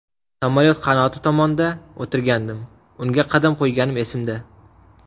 Samolyot qanoti tomonda o‘tirgandim, unga qadam qo‘yganim esimda.